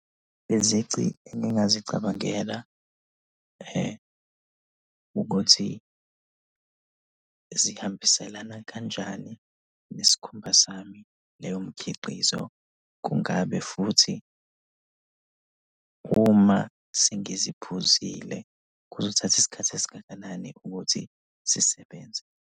Izici engingazicabangela ukuthi zihambiselana kanjani nesikhumba sami leyo mikhiqizo. Kungabe futhi uma sengiziphuzile, kuzothatha isikhathi esingakanani ukuthi zisebenze?